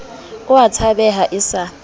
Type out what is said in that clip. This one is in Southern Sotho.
o a tshabeha e sa